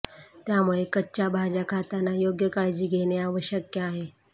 त्यामुळे कच्च्या भाज्या खाताना योग्य काळजी घेणं आवश्यक आहे